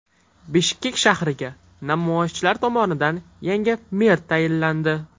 Bishkek shahriga namoyishchilar tomonidan yangi mer tayinlandi.